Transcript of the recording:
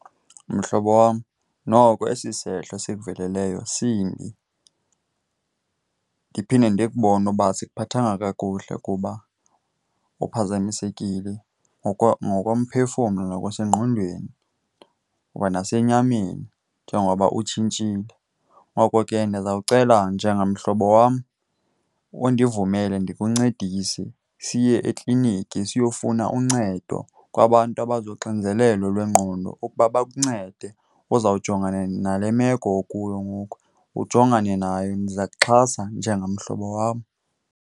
Mhlobo wam, noko esi sehlo sikuveleleyo simbi. Ndiphinde ndikubone uba asikhuphathanga kakuhle kuba uphazamisekile ngokomphefumlo nokwasengqondweni kwanasenyameni njengoba utshintshile. Ngoko ke ndizawucela njengamhlobo wam undivumele ndikuncedise siye ekliniki, siyofuna uncedo kwabantu abazonxinzelelo lwengqondo ukuba bakuncede uzawujongana nale meko okuyo ngoku, ujongane nayo. Ndiza kuxhasa njengamhlobo wam.